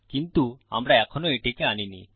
কিন্তু আমরা এখনও এটিকে আনিনি